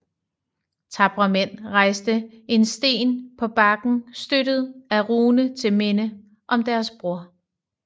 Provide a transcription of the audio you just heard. Tapre mænd rejste en sten på bakken støttet af rune til minde om deres bror